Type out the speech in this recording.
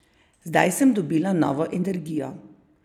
Zdaj sem dobila novo energijo.